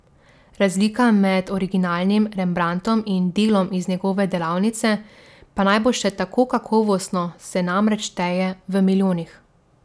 Razlika med originalnim Rembrandtom in delom iz njegove delavnice, pa naj bo še tako kakovostno, se namreč šteje v milijonih.